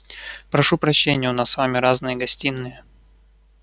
прошу прощения у нас с вами разные гостиные